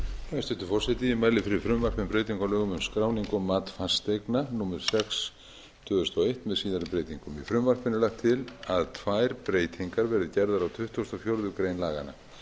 sex tvö þúsund og eitt um skráningu og mat fasteigna með síðari breytingum með frumvarpinu er lagt til að tvær breytingar verði gerðar á tuttugustu og fjórðu grein laganna lagt